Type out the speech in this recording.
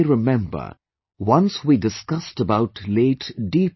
You may remember, once we discussed about Late D